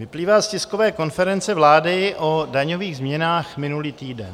Vyplývá z tiskové konference vlády o daňových změnách minulý týden.